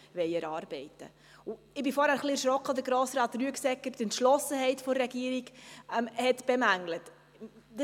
Ich bin vorhin ein wenig erschrocken, als Grossrat Rüegsegger die Entschlossenheit der Regierung bemängelt hat.